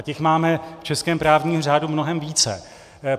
A těch máme v českém právním řádu mnohem více.